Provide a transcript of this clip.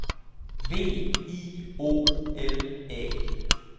V I O L A